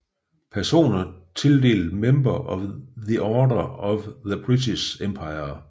Personer tildelt Member of the Order of the British Empire